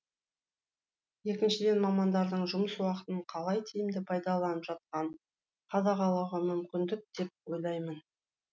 екіншіден мамандардың жұмыс уақытын қалай тиімді пайдаланып жатқанын қадағалауға мүмкіндік деп ойлаймын